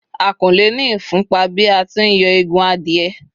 a ko le ni ifún pa bi a ti n yo Egun adìye